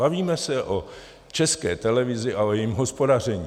Bavíme se o České televizi a o jejím hospodaření.